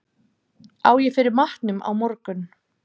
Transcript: Á ég fyrir matnum á morgun?